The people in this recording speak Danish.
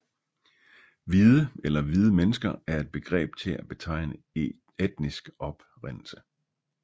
Hvide eller hvide mennesker er et begreb til at betegne etnisk oprindelse